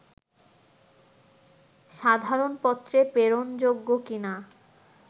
সাধারণ পত্রে প্রেরণ যোগ্য কিনা